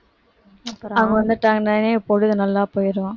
அவங்க வந்துட்டாங்கனாவே பொழுது நல்லா போயிரும்